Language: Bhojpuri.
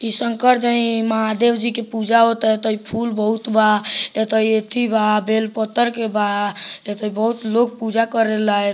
इ शंकर जी महादेव जी के पूजा हो ता ता इ फूल बहुत बा इ त एथी बा बेल पतर के बा तथा इ बोहुत लोग पूजा करे ला |